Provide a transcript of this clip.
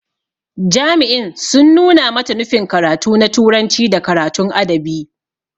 Jami'in sun nuna mata nufin karatu na turanci da karatun adabi.